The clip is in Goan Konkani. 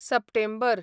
सप्टेंबर